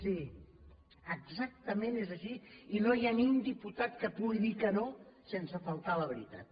sí exactament és així i no hi ha ni un diputat que pugui dir que no sense faltar a la veritat